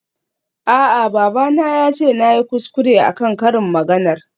A'a babana yace nayi kuskure akan karin maganar.